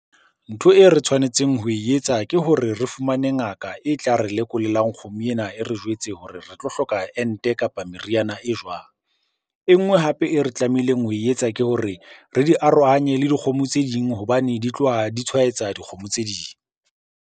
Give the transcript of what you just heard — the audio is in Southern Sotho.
Ntho e re tshwanetseng ho e etsa ke hore re fumane ngaka e tla re lekolelang kgomo ena, e re jwetse hore re tlo hloka ente kapa meriana e jwang? E nngwe hape e re tlamehileng ho e etsa ke hore re di arohanye le dikgomo tse ding hobane di tloha di tshwaetsa dikgomo tse ding.